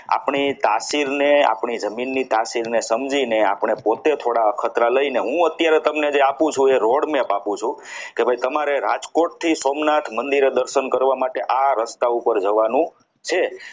પિતાશ્રીનેઆપણી જમીનની તાસીરને સમજીને આપણે પોતે થોડા અખતરા લઈને હું અત્યારે જે તમને આપું છું એ road map આપું છું કે ભાઈ તમારે રાજકોટ થી સોમનાથ મંદિરે દર્શન કરવા માટે આ રસ્તા ઉપર જવાનું છે આપણી તસવીરને